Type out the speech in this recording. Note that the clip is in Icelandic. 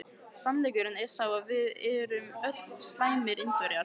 Sannleikurinn er sá að við erum öll slæmir Indverjar.